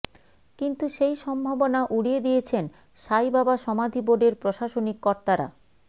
কিন্তু সেই সম্ভাবনা উড়িয়ে দিয়েছেন সাইবাবা সমাধি বোর্ডের প্রশাসনিক কর্তারা